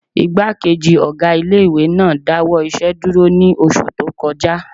Ìgbákejì ọgá ilé-ìwé náà dáwọ́ iṣẹ́ dúró ní oṣù tó kọjá